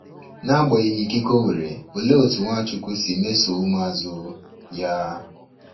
N’agbanyeghị ikike o nwere, olee otú Nwachujwu si mesoo ụmụazụ ya?